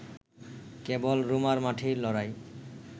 কেবল রোমার মাঠে লড়াই